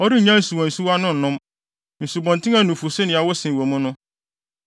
Ɔrennya nsuwansuwa no nnom nsubɔnten a nufusu ne ɛwo sen wɔ mu no.